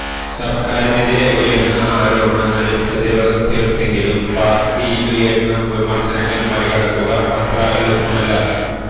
സര്ക്കാരിനെതിരെ ഉയര്ന്ന ആരോപണങ്ങളില് പ്രതിരോധം തീര്ത്തെങ്കിലും പാര്ട്ടിയിലുയരുന്ന വിമര്ശനങ്ങള് മറികടക്കുക അത്ര എളുപ്പമല്ല